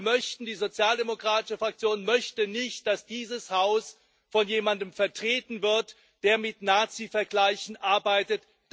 Wir die Sozialdemokratische Fraktion möchten nicht, dass dieses Haus von jemandem vertreten wird, der mit Nazivergleichen arbeitet.